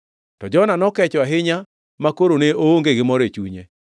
To Jona nokecho ahinya makoro ne oonge gi mor e chunye.